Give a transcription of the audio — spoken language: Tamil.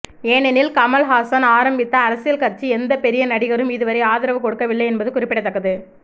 ஏனெனில் கமலஹாசன் ஆரம்பித்த அரசியல் கட்சிக்கு எந்த பெரிய நடிகரும் இதுவரை ஆதரவு கொடுக்கவில்லை என்பது குறிப்பிடத்தக்கது